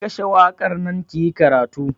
Ki kashe waƙar nan kiyi karatu!